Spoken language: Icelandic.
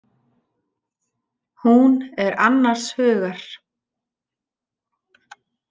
Hún er annars hugar.